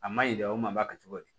A ma ɲi dɛ o ma kɛ cogo di